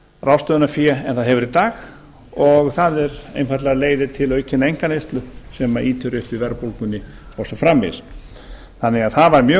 ráðstöfunarfé en það hefur í dag og það einfaldlega leiðir til aukinnar einkaneyslu sem ýtir undir verðbólgunni og svo framvegis þannig að það var mjög